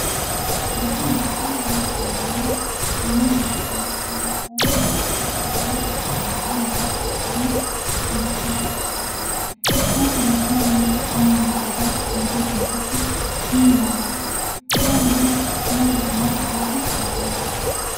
Bishaan jechuun waanta dhangala'aa, uumamaan, uumaan eebbisee uumama lubbu qabeeyyii hundaaf kan kenne, kan bakka maratti argamudha. Bishaan sadarkaa ho'iinsa qaama Bineeldota eeguu keessatti gahee olaanaa qaba. Bishaan bosonaa dhugaatiif filatamaadha.